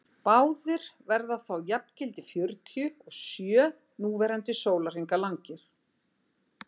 báðir verða þá jafngildi fjörutíu og sjö núverandi sólarhringa langir